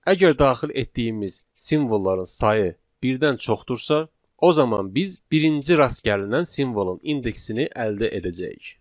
Əgər daxil etdiyimiz simvolların sayı birdən çoxdursa, o zaman biz birinci rast gəlinən simvolun indeksini əldə edəcəyik.